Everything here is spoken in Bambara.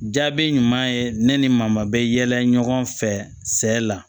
Jaabi ɲuman ye ne ni maa ma bɛ yɛlɛ ɲɔgɔn fɛ sɛ la